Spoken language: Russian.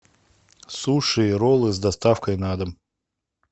суши и роллы с доставкой на дом